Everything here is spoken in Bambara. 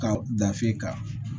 Ka dafe kan